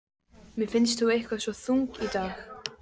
Mér finnst þú eitthvað svo þung í dag.